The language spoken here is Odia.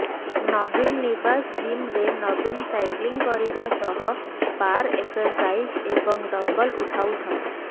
ନବୀନ ନିବାସ ଜିମରେ ନବୀନ ସାଇକ୍ଲିଂ କରିବା ସହ ବାର୍ ଏକ୍ସରସାଇଜ ଏବଂ ଡମ୍ବଲ ଉଠାଉଛନ୍ତି